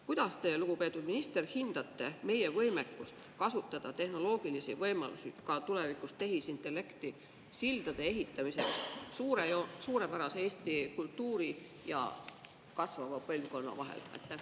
Kuidas teie, lugupeetud minister, hindate meie võimekust kasutada tehnoloogilisi võimalusi, ehitamaks tulevikus tehisintellekti abil sildu suurepärase Eesti kultuuri ja kasvava põlvkonna vahel?